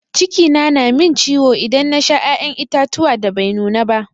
Ciki na min ciwo idan na Sha ya'yan itatuwa da Bai nuna ba.